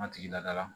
An tigi lada la